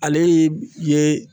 Ale ye